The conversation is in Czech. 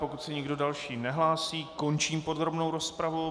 Pokud se nikdo další nehlásí, končím podrobnou rozpravu.